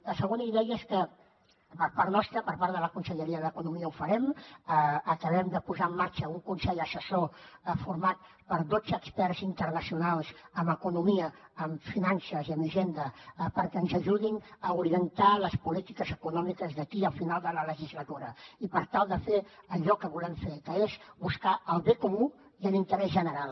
la segona idea és que per part nostra per part de la conselleria d’economia ho farem acabem de posar en marxa un consell assessor format per dotze experts internacionals en economia en finances i en hisenda perquè ens ajudin a orientar les polítiques econòmiques d’aquí al final de la legislatura i per tal de fer allò que volem fer que és buscar el bé comú i l’interès general